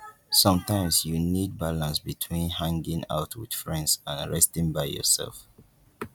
sometimes you need balance between hanging out with friends and resting by yourself